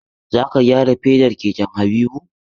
Za ka gyara fedar keken Habibu!